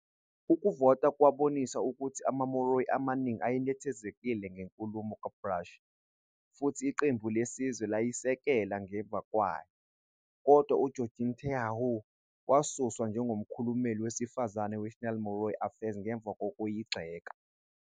Ukuvota kwabonisa ukuthi amaMāori amaningi ayenethezekile ngenkulumo kaBrash, futhi Iqembu Lesizwe layisekela ngemva kwayo, kodwa uGeorgina te Heuheu wasuswa njengomkhulumeli wesifazane weNational Māori Affairs ngemva kokuyigxeka.